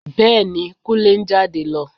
Bẹ́ẹ̀ ni, Kúnlé ń jáde lọ